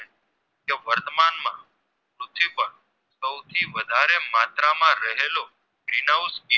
Green House